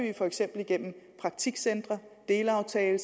vi for eksempel gennem praktikcentre og delaftaler